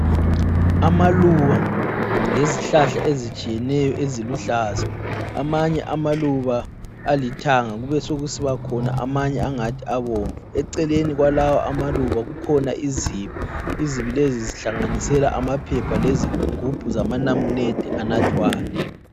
Amaluba lezihlahla ezitshiyeneyo eziluhlaza. Amanye amaluba alithanga kube sekusiba khona amanye angathi abomvu. Eceleni kwalawo amaluba kukhona izibi. Izibi lezi zihlanganisela amaphepha lezigubhu zamanamunede anathwayo.